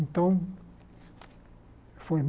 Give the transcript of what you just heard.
Então, foi.